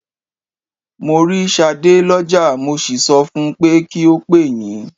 Mo rí Ṣadé lọ́jà, mo sì sọ fun pé kí ó pè yín.